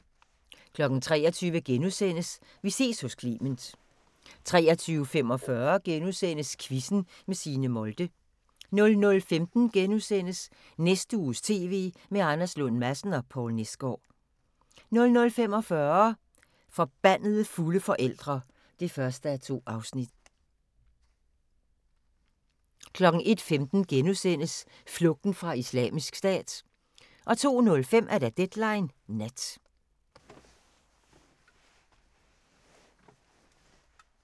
23:00: Vi ses hos Clement * 23:45: Quizzen med Signe Molde * 00:15: Næste uges TV med Anders Lund Madsen og Poul Nesgaard * 00:45: Forbandede fulde forældre (1:2) 01:15: Flugten fra Islamisk Stat * 02:05: Deadline Nat